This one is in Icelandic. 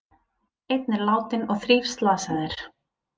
Einn er látinn og þrír slasaðir